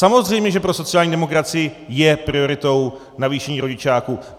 Samozřejmě že pro sociální demokracii je prioritou navýšení rodičáku.